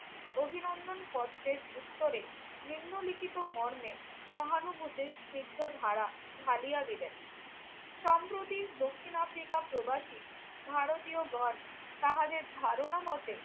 অভিনন্দন পত্রের উত্তরে নিম্নলিখিত মর্মে সহানুভূতির স্নিগ্ধ ধারা ঢালিয়া দিলেন। সম্প্রতি দক্ষিণ আফ্রিকা প্রবাসী ভারতীয়গণ তাহাদের ধারণামতে